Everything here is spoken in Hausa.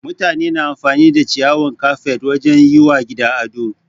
Mutane na amfani da ciyawan kafet wajen yi wa gida ado.